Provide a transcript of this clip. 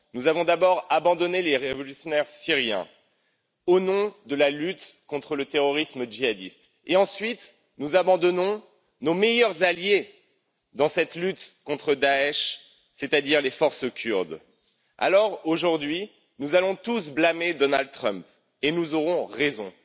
Nous avons d'abord abandonné les révolutionnaires syriens, au nom de la lutte contre le terrorisme djihadiste, et ensuite nous abandonnons nos meilleurs alliés dans cette lutte contre Daech, c'est à dire les forces kurdes. Alors, aujourd'hui, nous allons tous blâmer Donald Trump, et nous aurons raison.